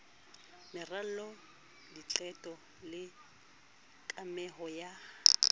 meralo diqeto le kameho ya